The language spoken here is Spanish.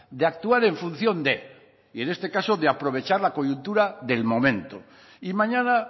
de actuar en función de y en este caso de aprovechar la coyuntura del momento y mañana